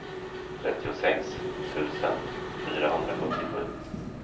trettiosex tusen fyrahundrasjuttiosju